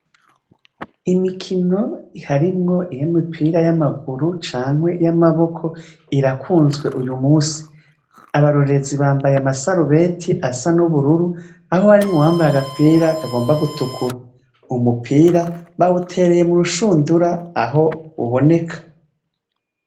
Imikino harimwo iy'imipira y'amaguru canke y'amaboko irakunzwe uyu munsi. Abarorererzi bambaye amasarubeti asa n'ubururu aho harimwo uwambaye agapira kagomba gutukura. Umupira bawutereye mu rushundura aho uboneka.